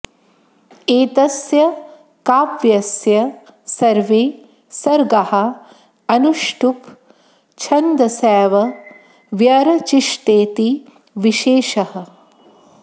एतस्य काव्यस्य सर्वे सर्गाः अनुष्टुप् छन्दसैव व्यरचिषतेति विशेषः